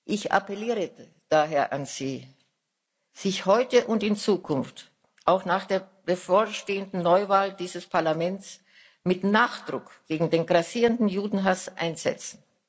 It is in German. Ich appelliere daher an Sie, sich heute und in Zukunft auch nach der bevorstehenden Neuwahl dieses Parlaments mit Nachdruck gegen den grassierenden Judenhass einzusetzen.